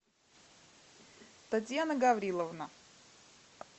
татьяна гавриловна